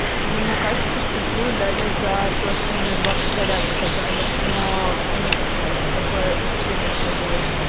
ну мне кажется что пиво дали за то что мы на два косаря заказали но ну типа такое ощущение сложилось